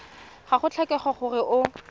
ga go tlhokege gore o